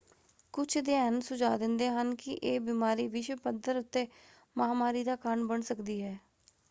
ਕੁਝ ਅਧਿਐਨ ਸੁਝਾਅ ਦਿੰਦੇ ਹਨ ਕਿ ਇਹ ਬਿਮਾਰੀ ਵਿਸ਼ਵ ਪੱਧਰ ਉੱਤੇ ਮਹਾਂਮਾਰੀ ਦਾ ਕਾਰਨ ਬਣ ਸਕਦੀ ਹੈ।